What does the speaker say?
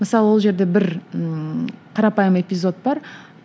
мысалы ол жерде бір ііі қарапайым эпизод бар